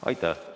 Aitäh!